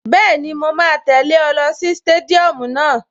Bẹ́ẹ̀ni, mo máa tẹ̀lẹ́ ọ lọ sí stadium náà